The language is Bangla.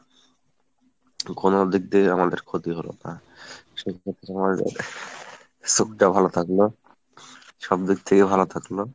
ঘুমানোর দিকে দিয়ে আমাদের ক্ষতি হলো না, আহ সেক্ষেত্রে আমাদের চোখটাও ভালো থাকলো, সবদিক থেকেই ভালো থাকলো